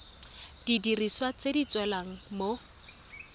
didiriswa tse di tshelang mo